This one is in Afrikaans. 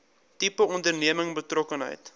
tipe onderneming betrokkenheid